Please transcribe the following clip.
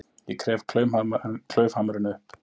Ég gref klaufhamarinn upp.